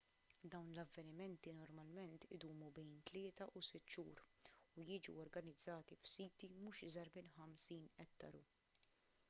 dawn l-avvenimenti normalment idumu bejn tlieta u sitt xhur u jiġu organizzati f'siti mhux iżgħar minn 50 ettaru